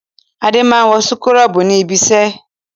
Adé máa ń wọ súkúrọ́bù ní ibiṣẹ́.